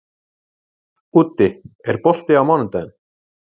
Úddi, er bolti á mánudaginn?